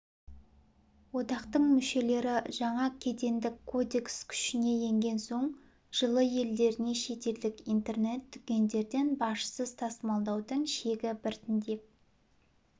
одақтың мүшелері жаңа кедендік кодекс күшіне енген соң жылы елдеріне шетелдік интернет-дүкендерден бажсыз тасымалдаудың шегі біртіндеп